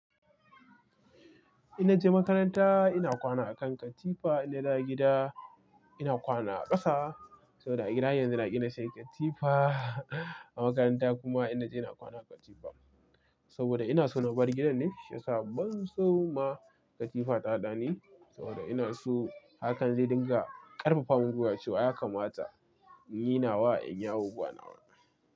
In naje makaranta ina kwana a kan katifa, in naje gida ina kwana a ƙasa. Saboda a gida yanzu ina gina sai katifa, a makaranta kuma ina kwana a katifa. Saboda ina so na bar gidan ne, sha sabon sau ma katifa ta haɗani. Saboda ina so hakan zai dinga ƙarfafa mun gwuiwa cewa ya kamata in yi nawa in yawo gwanawa.